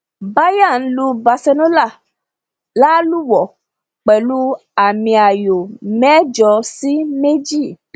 bayern lu barcelona lálùwò pẹlú àmìayò mẹjọ sí méjì